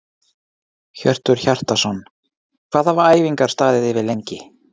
Hjörtur Hjartarson: Hvað hafa æfingar staðið yfir lengi?